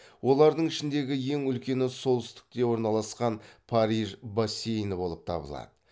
олардың ішіндегі ең үлкені солтүстікте орналасқан париж бассейні болып табылады